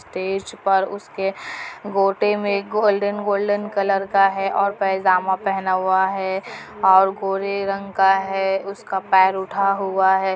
Stage पर उसके गोटे में गोल्डन गोल्डन कलर का है और पायजामा पहन हुआ है और गोरे रंग का है उसका पैर उठा हुआ है।